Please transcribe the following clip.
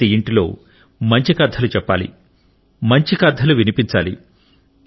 ప్రతి ఇంటిలో మంచికథలు చెప్పాలి మంచి కథలు వినిపించాలి